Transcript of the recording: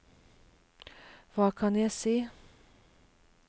hva kan jeg si